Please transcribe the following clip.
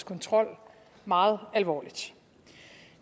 kontrol meget alvorligt